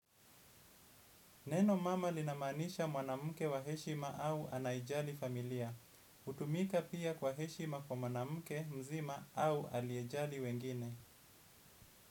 Neno mama linamaanisha mwanamke wa heshima au anayejali familia. Hutumika pia kwa heshima kwa mwanamke mzima au anayejali wengine.